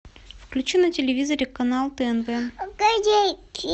включи на телевизоре канал тнт